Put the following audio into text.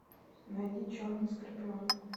найди черный скорпион